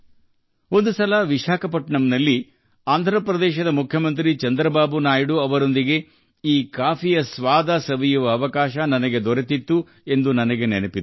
ಒಮ್ಮೆ ಆಂಧ್ರ ಪ್ರದೇಶದ ಮುಖ್ಯಮಂತ್ರಿ ಚಂದ್ರಬಾಬು ನಾಯ್ಡು ಅವರೊಂದಿಗೆ ವಿಶಾಖಪಟ್ಟಣದಲ್ಲಿ ಈ ಕಾಫಿ ಸವಿಯುವ ಅವಕಾಶ ಸಿಕ್ಕಿದ್ದು ನನಗೆ ನೆನಪಿದೆ